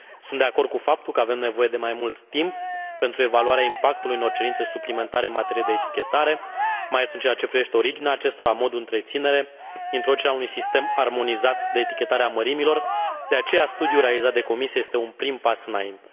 Sunt de acord cu faptul că avem nevoie de mai mult timp pentru evaluarea impactului unor cerințe suplimentare în materie de etichetare, mai ales în ceea ce privește originea acestora, modul de întreținere, introducerea unui sistem armonizat de etichetare a mărimilor, de aceea studiul realizat de Comisie este un prim pas înainte.